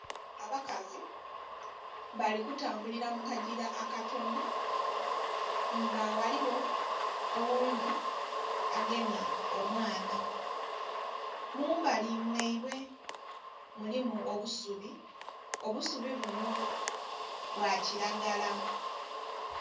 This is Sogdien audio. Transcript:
Abakazi bali kutambulila mu kagila akatonho nga ghaligho oghundhi agemye omwana. Mu mbali mwaibwe mulimu obusubi, obusubi bunho bwa kilagala.